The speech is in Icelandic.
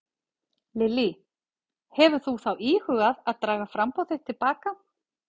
Lillý: Hefur þú þá íhugað að draga framboð þitt til baka?